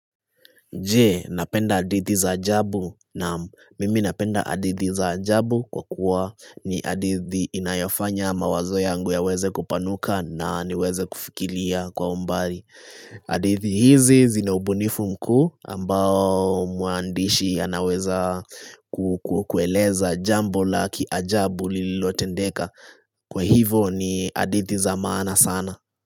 Je, napenda hadithi za ajabu? Naam mimi napenda hadithi za ajabu kwa kuwa ni hadithi inayofanya mawazo yangu yaweze kupanuka na niweze kufikiria kwa umbali. Hadithi hizi zina ubunifu mkuu ambao mwandishi anaweza kukueleza jambo la ajabu lilotendeka. Kwa hivo ni hadithi za maana sana.